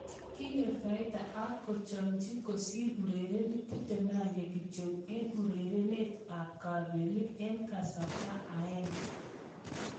Kinyor fainda ak kechomchi kosir urerenik 21 kityo eng urerenet ab kapelik eng kasarta aenge.